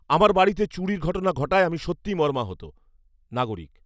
আমার বাড়িতে চুরির ঘটনা ঘটায় আমি সত্যিই মর্মাহত। নাগরিক